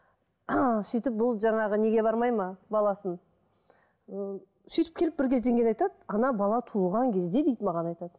сөйтіп бұл жаңағы неге бармайды ма баласын ы сөйтіп келіп бір кезден кейін айтады бала туылған кезде дейді маған айтады